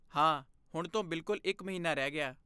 ਹਾਂ, ਹੁਣ ਤੋਂ ਬਿਲਕੁਲ ਇੱਕ ਮਹੀਨਾ ਰਹਿ ਗਿਆ।